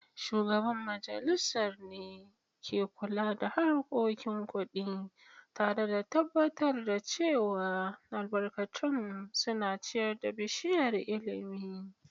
Shugaban majalisar ne ke kula da harkokin kudi, tare da tabbatar da cewa albarkatun suna ciyar da bishiyar ilimi.